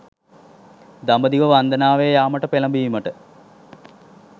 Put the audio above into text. දඹදිව වන්දනාවේ යාමට පෙළැඹීමට